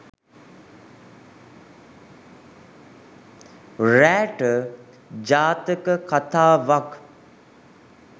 රෑට ජාතක කතාවක්